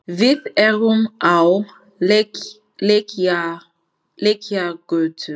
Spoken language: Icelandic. Við erum á Lækjargötu.